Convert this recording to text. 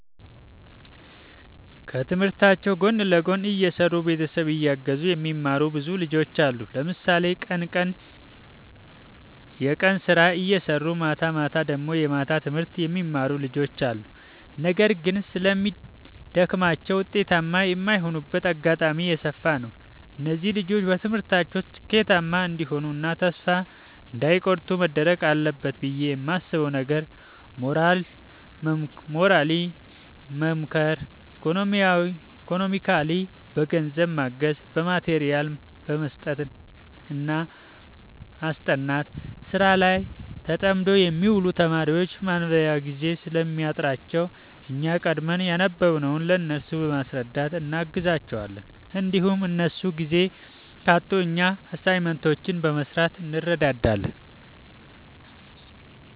ከትምህርታቸው ጎን ለጎን እየሰሩ ቤተሰብ እያገዙ የሚማሩ ብዙ ልጆች አሉ። ለምሳሌ ቀን ቀን የቀን ስራ እየሰሩ ማታማታ ደግሞ የማታ ትምህርት የሚማሩ ልጆች አሉ። ነገር ግን ስለሚደግማቸው ውጤታማ የማይሆኑበት አጋጣሚ የሰፋ ነው። እነዚህ ልጆች በትምህርታቸው ስኬታማ እንዲሆኑ እና ተስፋ እንዳይ ቆርጡ መደረግ አለበት ብዬ የማስበው ነገር ሞራሊ መምከር ኢኮኖሚካሊ በገንዘብ ማገዝ በማቴሪያል መስጠትና ማስጠናት። ስራ ላይ ተጠምደው የሚውሉ ተማሪዎች ማንበቢያ ጊዜ ስለሚያጥራቸው እኛ ቀድመን ያነበብንውን ለእነሱ በማስረዳት እናግዛቸዋለን እንዲሁም እነሱ ጊዜ ካጡ እኛ አሳይመንቶችን በመስራት እንረዳዳለን